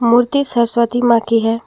मूर्ति सरस्वती मां की है।